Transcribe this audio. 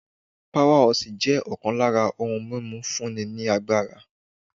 Power horse' jẹ́ ọkàn lára ohun mímu fún ni lágbára